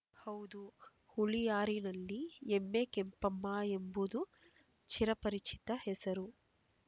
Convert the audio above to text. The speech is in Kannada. ಹೌದು ಹುಳಿಯಾರಿನಲ್ಲಿ ಎಮ್ಮೆ ಕೆಂಪಮ್ಮ ಎಂಬುದು ಚಿರಪರಿಚಿತ ಹೆಸರು